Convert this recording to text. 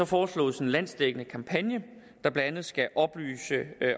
foreslås en landsdækkende kampagne der blandt andet skal oplyse